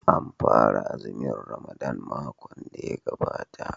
An fara azumin Ramadan makon da ya gabata.